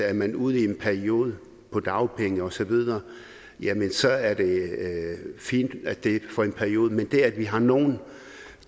er man ude i en periode på dagpenge osv så er det fint at det er for en periode men det at vi har nogle